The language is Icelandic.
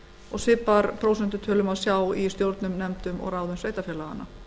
og svipaðar prósentutölur má sjá í stjórnum nefndum og ráðum sveitarfélaganna